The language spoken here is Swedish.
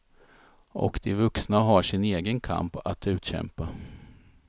Och de vuxna har sin egen kamp att utkämpa.